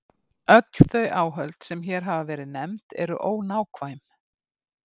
Öll þau áhöld sem hér hafa verið nefnd eru ónákvæm.